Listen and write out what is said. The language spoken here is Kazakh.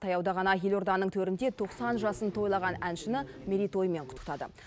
таяуда ғана елорданың төрінде тоқсан жасын тойлаған әншіні мерейтоймен құттықтады